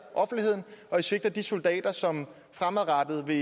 offentligheden og de svigter de soldater som fremadrettet vil